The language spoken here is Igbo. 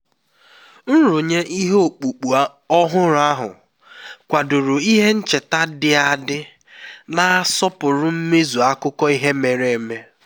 nrụnye ihe ọkpụkpụ ọhụrụ ahụ kwadoro ihe ncheta dị adị na-asọpụrụ mmezu akụkọ ihe mere eme